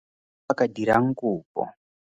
a ka dirang kopo?